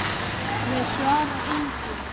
Þeir svara engu.